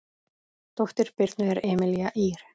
Dóttir Birnu er Emelía Ýr.